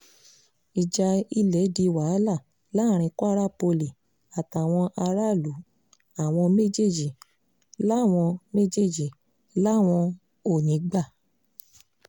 ìjà ilẹ̀ di wàhálà láàrin kwara poli àtàwọn aráàlú àwọn méjèèjì làwọn méjèèjì làwọn ò ní í gbà